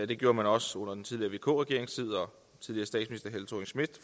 det gjorde man også under den tidligere vk regerings tid